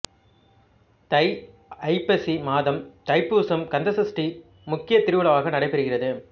தை ஐப்பசி மாதம் தைப்பூசம் கந்த சஷ்டி முக்கிய திருவிழாவாக நடைபெறுகிறது